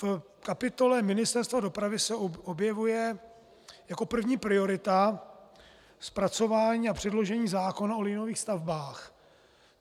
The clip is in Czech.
V kapitole Ministerstva dopravy se objevuje jako první priorita zpracování a předložení zákona o liniových stavbách.